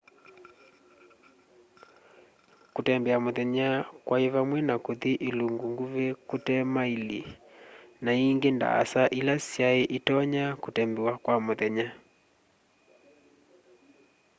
kũtembea mũthenya kwaĩ vamwe na kũthĩ ĩlũngũ ngũvĩ kũte maĩlĩ na ĩngĩ ndaasa ĩla sya ĩtonya kũtembewa kwa mũthenya